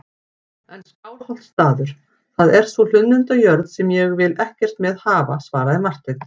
En Skálholtsstaður, það er sú hlunnindajörð sem ég vil ekkert með hafa, svaraði Marteinn.